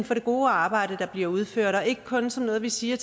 for det gode arbejde der bliver udført og ikke kun som noget vi siger